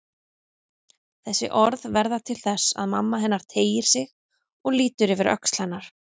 Þessi orð verða til þess að mamma hennar teygir sig og lítur yfir öxl hennar.